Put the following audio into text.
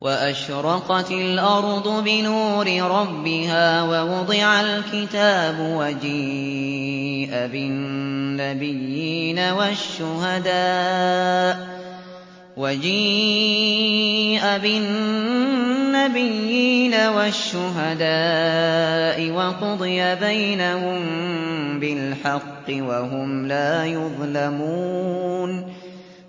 وَأَشْرَقَتِ الْأَرْضُ بِنُورِ رَبِّهَا وَوُضِعَ الْكِتَابُ وَجِيءَ بِالنَّبِيِّينَ وَالشُّهَدَاءِ وَقُضِيَ بَيْنَهُم بِالْحَقِّ وَهُمْ لَا يُظْلَمُونَ